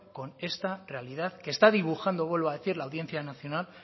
con esta realidad que está dibujando vuelvo a decir la audiencia nacional